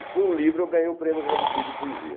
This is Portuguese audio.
E com o livro eu ganhei o Prêmio Jabuti de Poesia.